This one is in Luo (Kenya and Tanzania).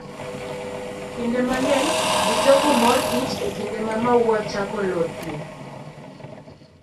Kinde mang'eny, ji choko mor kich e kinde ma maua chako lothie.